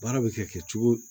Baara bɛ kɛ cogo o cogo